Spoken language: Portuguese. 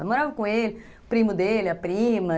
Eu morava com ele, o primo dele, a prima.